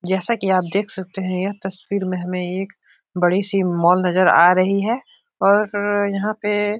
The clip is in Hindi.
जैसा कि आप देख सकते हैं यह तस्वीर में हमें एक बड़ी सी मॉल नजर आ रही है और यहाँ पे --